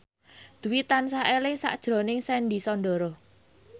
Dwi tansah eling sakjroning Sandy Sandoro